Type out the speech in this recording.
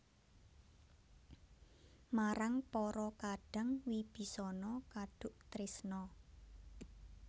Marang para kadang Wibisana kaduk tresna